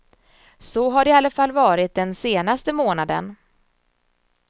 Så har det i alla fall varit den senaste månaden.